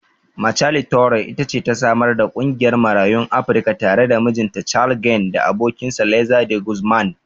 Michele Torrey it ce ta samar da ƙungiyar Marayun Afrika tare da mijinta Carl Gann da abokinsa Liza De Guzman.